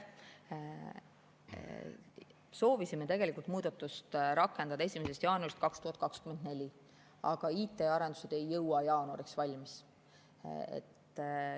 Soovisime tegelikult muudatust rakendada 1. jaanuarist 2024, aga IT‑arendused ei jõua jaanuariks valmis.